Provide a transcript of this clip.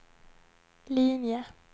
linje